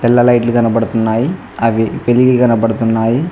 తెల్ల లైట్లు కనపడుతున్నాయి అవి వెలిగి కనపడుతున్నాయి.